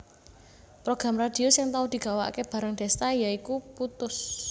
Program radhio sing tau digawakake bareng Desta ya iku Puttus